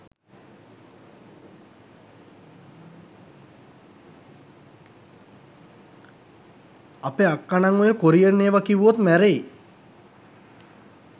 අපෙ අක්කනං ඔය කොරියන් ඒවා කිව්වොත් මැරෙයි.